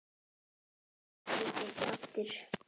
Þetta verður aldrei tekið aftur.